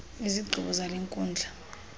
izigqibo zale nkundla